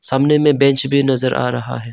सामने में बेंच भी नजर आ रहा है।